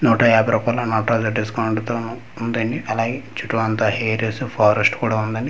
నూట యాభై రూపాయిల నాటరాజ డిస్కౌంట్ తోను ఉందండి అలాగే చుట్టు అంతా అరియాస్ ఫారెస్ట్ కూడ ఉందండి కింద--